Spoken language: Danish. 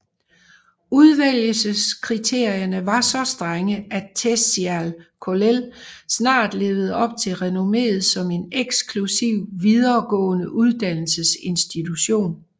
Udvælgelseskriterierne var så strenge at Telšiai Kollel snart levede op til renommeet som en eksklusiv videregående uddannelsesinstitution